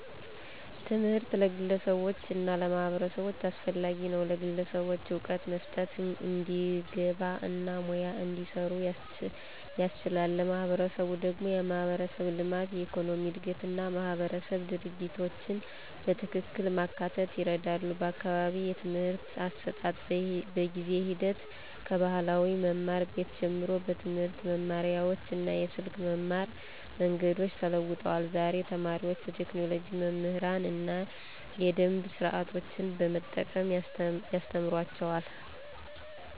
ትምህርት ለግለሰቦች እና ለማህበረሰቦች አስፈላጊ ነው፤ ለግለሰቦች እውቀት መስጠት፣ እንዲግባ እና ሙያ እንዲሰሩ ያስችላል። ለማህበረሰብ ደግሞ የማህበረሰብ ልማት፣ የኢኮኖሚ እድገት እና ማህበረሰብ ድርጊቶችን በትክክል ማካተት ይረዳል። በአካባቢዬ የትምህርት አሰጣጥ በጊዜ ሂደት ከባህላዊ መማር ቤት ጀምሮ በትምህርት መማሪያዎች እና የስልክ መማር መንገዶች ተለውጧል። ዛሬ ተማሪዎች በቴክኖሎጂ መምህራን እና የደምብ ስርዓቶችን በመጠቀም ያስተማሩአቸዋል።